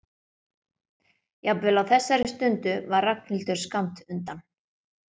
Jafnvel á þessari stundu var Ragnhildur skammt undan.